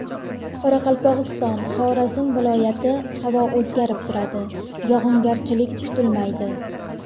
Qoraqalpog‘iston, Xorazm viloyati Havo o‘zgarib turadi, yog‘ingarchilik kutilmaydi.